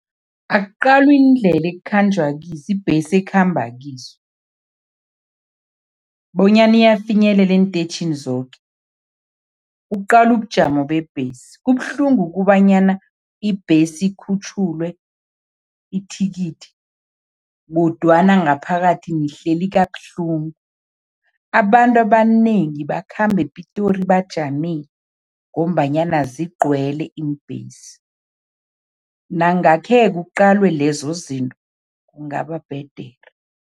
Akuqalwe iindlela ekukhanjwa kizo, ibhesi ekhamba kizo bonyana iyafinyelela eenteyitjhini zoke. Kuqalwe ubujamo bebhesi. Kubuhlungu ukubanyana ibhesi ikhutjhulwe ithikithi kodwana ngaphakathi nihleli kabuhlungu, abantu abanengi bakhamba ePitori bajamile ngombanyana zigcwele iimbhesi, nangakhe kuqalwe lezo zinto, kungaba bhedere.